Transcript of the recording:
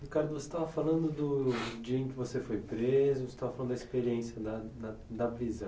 Ricardo, você estava falando do dia em que você foi preso, você estava falando da experiência da da da prisão.